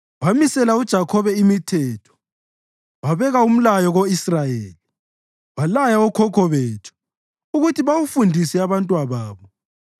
Wamisela uJakhobe imithetho wabeka umlayo ko-Israyeli, walaya okhokho bethu ukuthi bawufundise abantwababo,